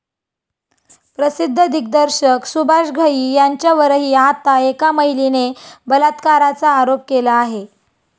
प्रसिद्ध दिग्दर्शक सुभाष घई यांच्यावरही आता एका महिलेने बलात्काराचा आरोप केला आहे.